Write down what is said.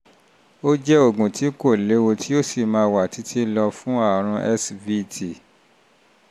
ó jẹ́ oògùn tí kò léwu tó sì máa wà títí lọ fún àrùn svt